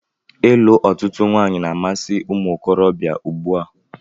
Ịlụ ọtụtụ nwanyị na-amasi umuokorobia ùgbúà.